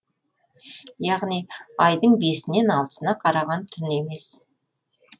яғни айдың бесінен алтысына қараған түн емес